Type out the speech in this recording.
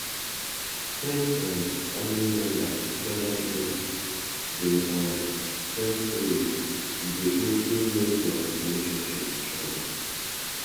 when um family members gather together de um tell stories e de also make their relationship strong